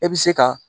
E bɛ se ka